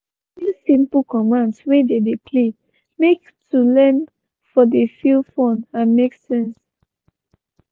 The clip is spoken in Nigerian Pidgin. he introduce simple commands when they dey play make to learn for dey feel fun and make sense.